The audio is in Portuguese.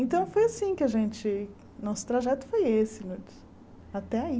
Então foi assim que a gente, nosso trajeto foi esse, até aí.